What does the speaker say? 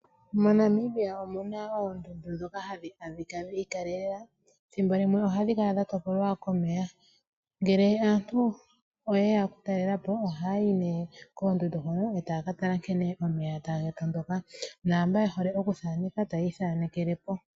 MoNamibia omu na ndhoka hadhi adhika dhi ikalela. Ethimbo limwe ohadhi kala dha topolwa komeya. Ngele aantu oye ya okutalela po ohaya yi nduno koondundu hoka e taya ka tala nkene omeya taga tondoka naamboka ye hole okuthaneka taya ithanekele po.